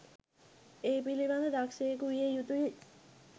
ඒ පිළිබඳව දක්ෂයකු විය යුතුයි.